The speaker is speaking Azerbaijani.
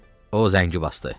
O zəngi basdı.